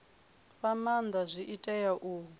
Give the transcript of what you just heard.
fha maanda zwi tea u